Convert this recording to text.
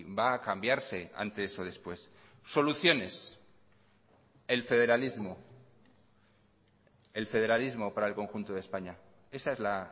va a cambiarse antes o después soluciones el federalismo el federalismo para el conjunto de españa esa es la